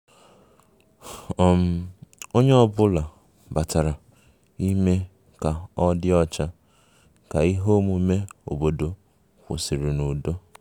um Onye ọ bụla batara ime ka ọ dị ọcha ka ihe omume obodo kwụsịrị n'udo